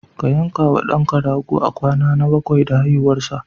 Ka yanka wa ɗanka rago a kwana na bakwai da haihuwarsa.